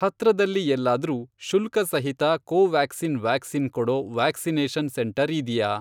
ಹತ್ರದಲ್ಲಿ ಎಲ್ಲಾದ್ರೂ ಶುಲ್ಕಸಹಿತ ಕೋವ್ಯಾಕ್ಸಿನ್ ವ್ಯಾಕ್ಸಿನ್ ಕೊಡೋ ವ್ಯಾಕ್ಸಿನೇಷನ್ ಸೆಂಟರ್ ಇದ್ಯಾ?